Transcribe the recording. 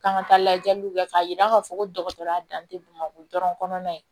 K'an ka taa lajɛliw kɛ k'a yira k'a fɔ ko dɔgɔtɔrɔya dan tɛ bamakɔ dɔrɔn kɔnɔna ye